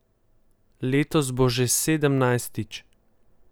Letos bo že sedemnajstič.